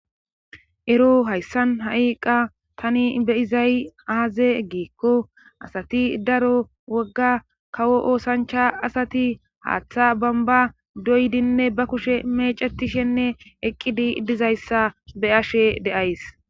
ero hayssan ha7i qa tani beyizay aaze eggeekko asati daro wogga kawo oosancha asati haaththa bamba doydinne ba kushe meecetishenne eqqidi dizayssa be ashe deays